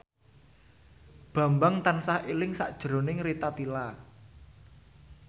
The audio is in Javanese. Bambang tansah eling sakjroning Rita Tila